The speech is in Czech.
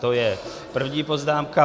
To je první poznámka.